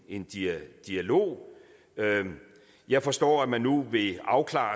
en dialog dialog jeg forstår at man nu vil afklare